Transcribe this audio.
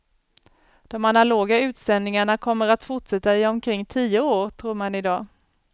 De analoga utsändningarna kommer att fortsätta i omkring tio år, tror man i dag.